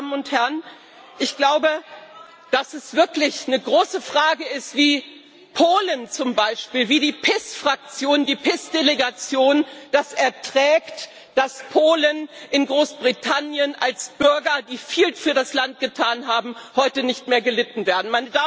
Und ich glaube, dass es wirklich eine große Frage ist, wie Polen zum Beispiel, wie die PiS Fraktion, die PiS Delegation es erträgt, dass Polen in Großbritannien als Bürger, die viel für das Land getan haben, heute nicht mehr gelitten werden.